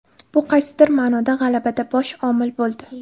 Bu qaysidir ma’noda g‘alabada bosh omil bo‘ldi.